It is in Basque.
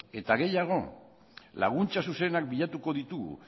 eta gehiago laguntza zuzenak bilatuko ditugu